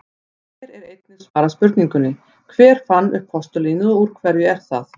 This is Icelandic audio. Hér er einnig svarað spurningunni: Hver fann upp postulínið og úr hverju er það?